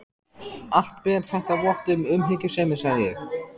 Allt ber þetta vott um umhyggjusemi, sagði ég.